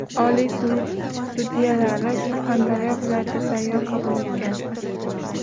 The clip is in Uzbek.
Oliy sud sudyalari Surxondaryo viloyatida sayyor qabul o‘tkazdi.